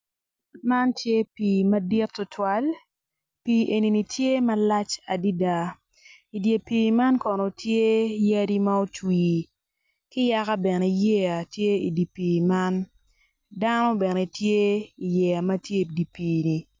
Man tye pii madit tutwal pii enini tye malac adada idi pii man kono tye yadi ma otwi ki yaka bene yeya tye idi pii man dano bene tye iyeya ma tye idi piini.